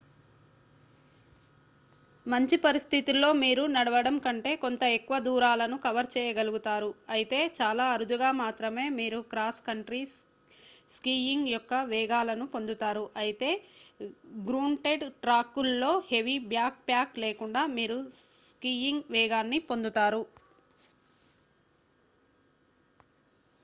మంచి పరిస్థితుల్లో మీరు నడవడం కంటే కొంత ఎక్కువ దూరాలను కవర్ చేయగలుగుతారు అయితే చాలా అరుదుగా మాత్రమే మీరు క్రాస్ కంట్రీ స్కీయింగ్ యొక్క వేగాలను పొందుతారు అయితే గ్రూంటెడ్ ట్రాక్ ల్లో హెవీ బ్యాక్ ప్యాక్ లేకుండా మీరు స్కీయింగ్ వేగాన్ని పొందుతారు